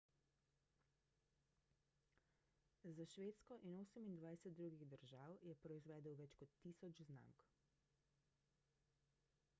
za švedsko in 28 drugih držav je proizvedel več kot 1000 znamk